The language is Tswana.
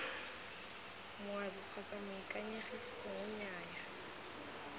moabi kgotsa moikaegi gongwe nnyaya